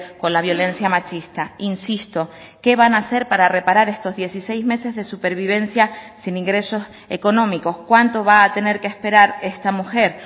con la violencia machista insisto qué van a hacer para reparar estos dieciséis meses de supervivencia sin ingresos económicos cuánto va a tener que esperar esta mujer